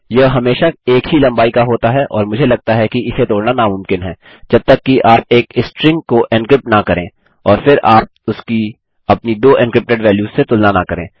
यह हमेशा एक ही लम्बाई का होता है और मुझे लगता है कि इसे तोड़ना नामुमकिन है जबतक कि आप एक स्ट्रिंग को एन्क्रिप्ट न करें और फिर आप उसकी अपनी दो एन्क्रिप्टेड वैल्यूस से तुलना न करें